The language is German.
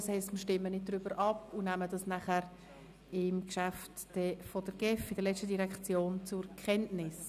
Das heisst, wir nehmen die Berichterstat tung dann bei der letzten Direktion, der GEF, zur Kenntnis.